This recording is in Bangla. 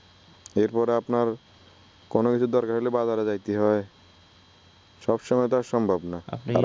এরপরে আপনার কোনো কিছুর দরকার হইলে বাজারে যাইতে হয় সবসময় তো আর সম্ভব না আপনি